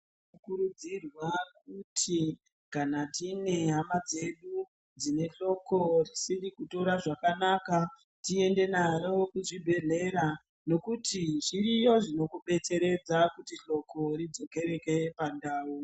Tinokurudzirwa kuti kana tine hama dzedu dzinehloko risiri kutora zvakanaka tiende naro kuchibhedhlera nekuti zviriyo zvinokudetseredza kuti hloko ridzokerehe pandau.